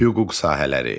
Hüquq sahələri.